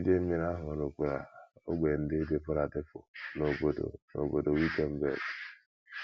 Idei mmiri ahụ rukwara ógbè ndị dịpụrụ adịpụ n’obodo n’obodo Wittenberg.